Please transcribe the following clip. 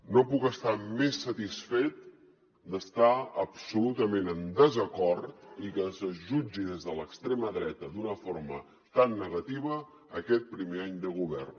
no puc estar més satisfet d’estar absolutament en desacord i que es jutgi des de l’extrema dreta d’una forma tan negativa aquest primer any de govern